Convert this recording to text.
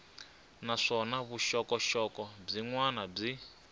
naswona vuxokoxoko byin wana byi